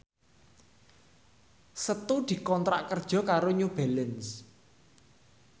Setu dikontrak kerja karo New Balance